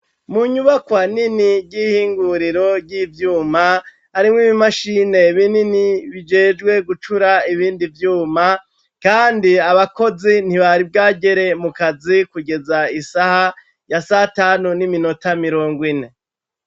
Mu nyubako nini ry'ihinguriro ry'ivyuma harimwo ibimashine binini bijejwe gucura ibindi vyuma, kandi abakozi ntibari bwagere mu kazi kugeza isaha ya satanu n'iminota mirongo ine.